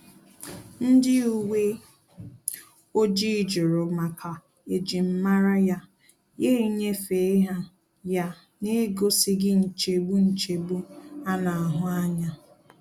Ndị uwe ojii jụrụ maka ejim mara ya, ya nyefee ha ya n'egosighi nchegbu nchegbu a na-ahu anya